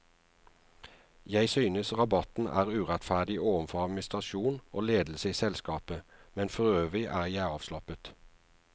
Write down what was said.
Jeg synes rabatten er urettferdig overfor administrasjon og ledelse i selskapet, men forøvrig er jeg avslappet.